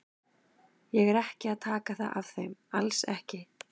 Ég er ekki að taka það af þeim, alls ekki.